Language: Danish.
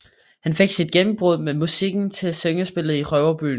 Han fik sit gennembrud med musikken til syngespillet Røverborgen